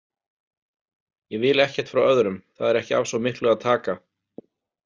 Ég vil ekkert frá öðrum, það er ekki af svo miklu að taka.